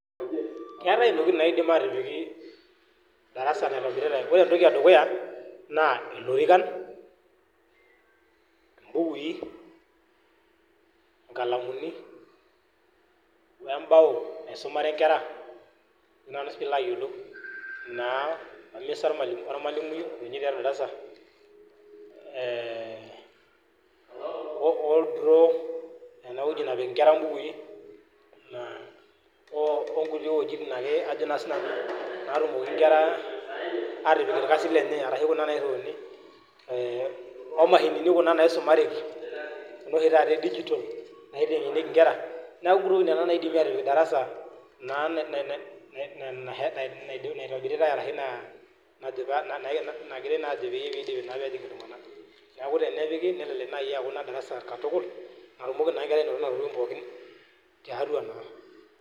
Keetae ntokitin naidimi atipik darasa naitobiritae, ore etoki edukuya naa: Ilorikan, imbukui, ikalamuni ebao naisumare nkera naa peilo ayiolou oo emisa ormalimui ee ildro ewueji nepik nkera ibukui naa okuti wueji ake naa atejo si nanu natumoki nkera atipik irkasin lenye, ashu kuna naas, omashini kuna naisumareki, kuna oshi taata e digital naitengenieki nkera neku ntokitin nena naidimi atipik darasa naa nna nne naitobirita ashu nashe naa3naa nagirae naa ajo piidipi naa pee ejing iltungana neaku tenidipi neaku naa darasa katukul naji nkera tiatua naa.